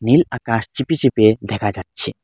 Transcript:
নীল আকাশ ছিপে ছিপে দেখা যাচ্ছে।